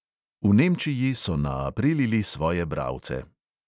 V nemčiji so naaprilili svoje bralce.